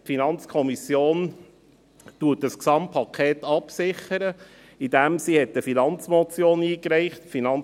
Die FiKo sichert das Gesamtpaket dadurch ab, dass sie eine Finanzmotion eingereicht hat.